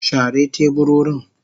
Share teburorin.